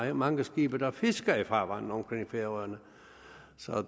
er mange skibe der fisker i farvandet omkring færøerne